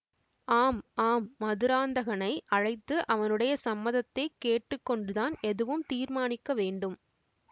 ஆம் ஆம் மதுராந்தகனை அழைத்து அவனுடைய சம்மதத்தைக் கேட்டு கொண்டுதான் எதுவும் தீர்மானிக்க வேண்டும்